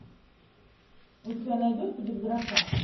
у тебя найдется без гроша